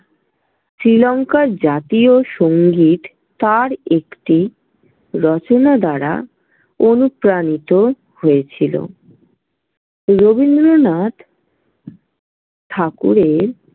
শ্রীলংকার জাতীয় সংগীত তাঁর একটি রচনা দ্বারা অনুপ্রাণিত হয়েছিল রবীন্দ্রনাথ ঠাকুরের।